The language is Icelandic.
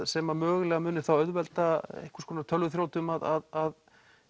sem að mögulega muni þá auðvelda einhvers konar tölvuþrjótum að